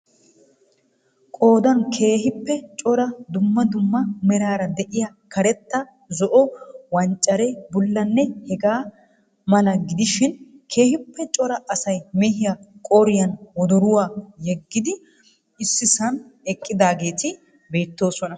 Qoodan keehiippe cora duumma dumma meraara de'iyaa karetta, zo"o,wanccare, bullanne hegaa mala gidishin keehiippee cora asay mehiyaa qooriyan woddoruwa yegidi issisan eqqidaageeti beettoosona.